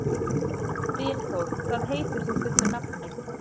Dynþór, hvað heitir þú fullu nafni?